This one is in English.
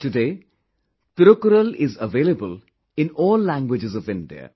Today, Thirukkural is available in all languages of India